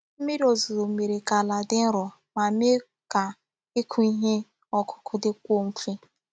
Mmírí òzùzó mere ka àlà dị nro ma mee ka ịkụ ihe ọkụ́kụ́ dịkwuo mfe.